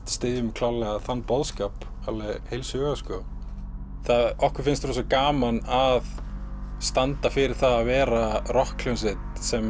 styðjum klárlega þann boðskap heils hugar okkur finnst gaman að standa fyrir það að vera rokkhljómsveit sem